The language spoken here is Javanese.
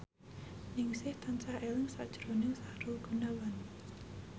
Ningsih tansah eling sakjroning Sahrul Gunawan